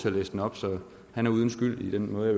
at læse den op så han er uden skyld i den måde